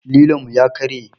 Lilon mu ya karye